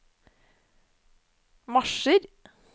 marsjer